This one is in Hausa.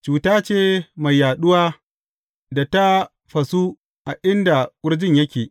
Cuta ce mai yaɗuwa da ta fasu a inda ƙurjin yake.